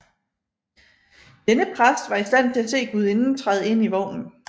Denne præst var i stand til at se gudinden træde ind i vognen